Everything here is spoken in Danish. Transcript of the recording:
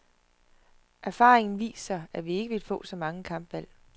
Erfaringen viser, at vi ikke vil få så mange kampvalg.